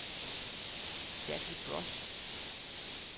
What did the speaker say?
Jackie Broch